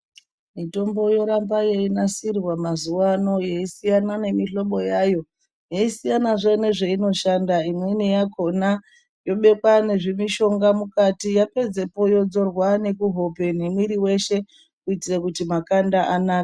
Mitombo yoramba yeinasirwa mazuva ano yeisiyana nemihobo yayo yeisiyanazve nezveinoshanda. Imweni yakona yobekwa nezvimishonga mukati yapedzepo yodzorwa nekuhope nemwiri veshe kuitire kuti makanda anake.